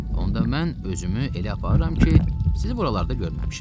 Onda mən özümü elə aparıram ki, sizi buralarda görməmişəm.